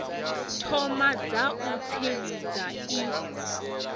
thoma dza u tsivhudza i